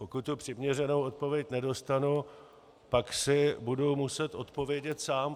Pokud tu přiměřenou odpověď nedostanu, pak si budu muset odpovědět sám.